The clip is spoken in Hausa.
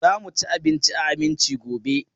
Za mu ci abinci a Aminci gobe.